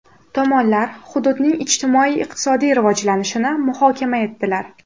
Tomonlar hududning ijtimoiy-iqtisodiy rivojlanishini muhokama etdilar.